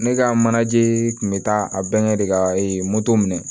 Ne ka manaje kun bɛ taa a bɛnkɛ de ka moto minɛ